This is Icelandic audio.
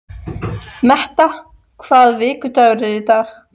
Metta, hvaða vikudagur er í dag?